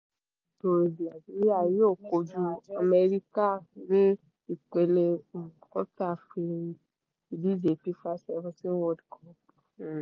nàìjíríà yóò kojú amẹ́ríkà ní ipele um quarter ìdíje fifa seventeen world cup [um um